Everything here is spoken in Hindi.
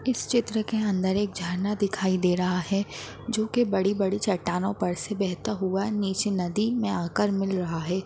इस चित्र के अंदर एक झरना दिखाई दे रहा है जो कि बड़ी-बड़ी चट्टानों पर से बहता हुआ नीचे मे नदी आकर मिल रहा है।